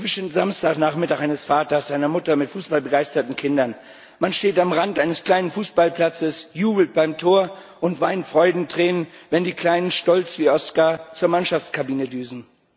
Der typische Samstagnachmittag eines Vaters oder einer Mutter mit fußballbegeisterten Kindern Man steht am Rand eines kleinen Fußballplatzes, jubelt beim Tor und weint Freudentränen, wenn die Kleinen stolz wie Oskar zur Mannschaftskabine düsen.